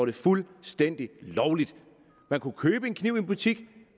det fuldstændig lovligt man kunne købe en kniv i en butik